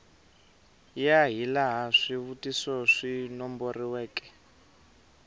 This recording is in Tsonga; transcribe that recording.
ya hilaha swivutiso swi nomboriweke